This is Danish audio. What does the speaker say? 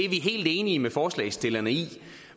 helt enige med forslagsstillerne i